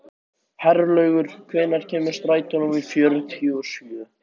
Herlaugur, hvenær kemur strætó númer fjörutíu og sjö?